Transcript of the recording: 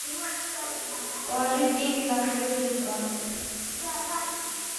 положить деньги на свой телефон